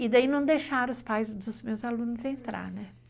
E daí não deixaram os pais dos meus alunos entrar, né?